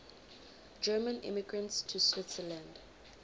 german immigrants to switzerland